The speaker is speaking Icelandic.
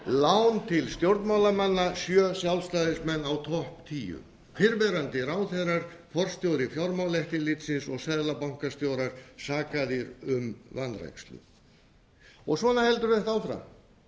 lán til stjórnmálamanna sjö sjálfstæðismenn á topp tíu fyrrverandi ráðherrar forstjóri fjármálaeftirlitsins og seðlabankastjórar sakaðir um vanrækslu svona heldur þetta áfram